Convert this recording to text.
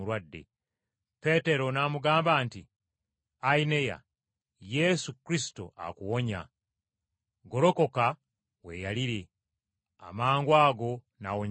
Peetero n’amugamba nti, “Ayineya! Yesu Kristo akuwonya. Golokoka weeyalire!” Amangwago n’awonyezebwa.